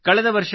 ಕಳೆದ ವರ್ಷ